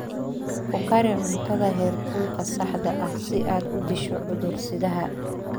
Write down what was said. Ku kari cuntada heerkulka saxda ah si aad u disho cudur-sidaha.